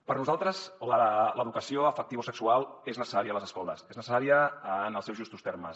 per nosaltres l’educació afectivosexual és necessària a les escoles és necessària en els seus justos termes